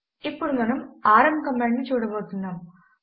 ఇప్పుడు మనము RM command ను చూడబోతున్నాము